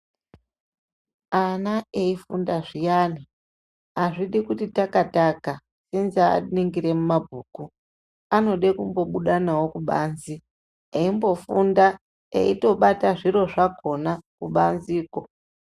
Ana eifunda zviyane azvidi kuti takaning remabguku anode kubuda kubanze eimboningira ningirai eimbofunda aitobata zviro zvakona kubanzeko.